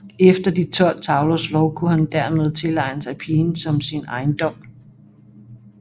Efter De tolv tavlers lov kunne han dermed tilegne sig pigen som sin ejendom